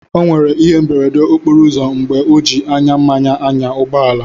O nwèrè ihé mberede okporo ụzọ mgbè ọ ji ányá mmanya n'ányà ụgbọ àlà